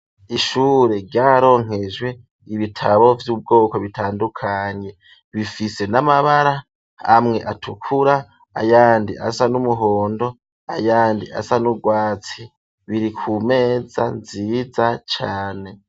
Ishure ryararonkejwe ibitabo vy'ubwoko bitandukanye bifise n'amabara, amwe atukura ayandi asa n'umuhondo ayandi asa n'urwatsi biri ku meza nziza cane.